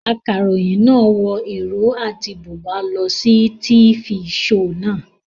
Akaròyìn náà wọ ìró àti bùbá lọ sí tifi shoò naa